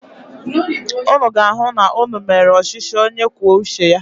Ụnụ ga-ahụ na ụnụ mere ọchịchị onye kwuo uche ya.